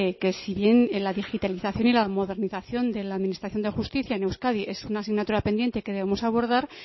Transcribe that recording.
que si bien en la digitalización y la modernización de la administración de justicia en euskadi es una asignatura pendiente que debemos abordar